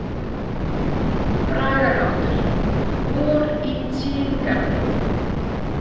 Bragarháttur: „Vor i Tsín- garði“.